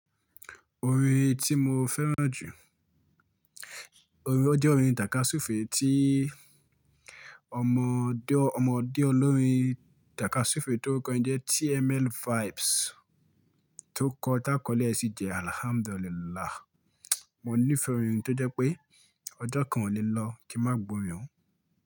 Orin tí mo fẹ́ràn jù, orin ó jẹ́ orin táká súfèé tí ọmọdé ọlọ́rin táká súfèé tórukọ́ n jẹ́ TML Vibes tó kọ tá kọ́ lẹ́ẹ́ sí jẹ Alhamdulillah. Mo ní fẹ́ orin tó jẹ́ pé ọjọ́ kan ò ní lọ kí n má gbo orin òun.